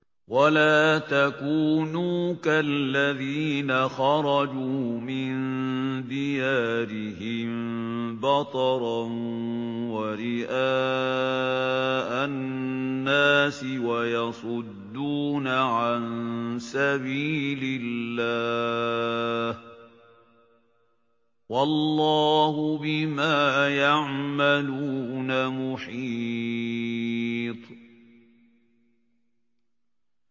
وَلَا تَكُونُوا كَالَّذِينَ خَرَجُوا مِن دِيَارِهِم بَطَرًا وَرِئَاءَ النَّاسِ وَيَصُدُّونَ عَن سَبِيلِ اللَّهِ ۚ وَاللَّهُ بِمَا يَعْمَلُونَ مُحِيطٌ